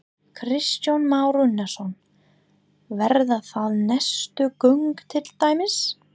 Kristján Már Unnarsson: Verða það næstu göng til dæmis?